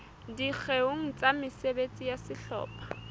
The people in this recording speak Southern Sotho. dikgeong tsa mesebetsi ya sehlopha